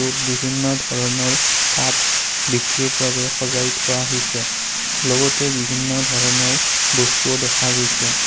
বহুত বিভিন্ন ধৰণৰ কাপ বিক্ৰীৰ বাবে সজাই থোৱা হৈছে লগতে বিভিন্ন ধৰণৰ বস্তুও দেখা গৈছে।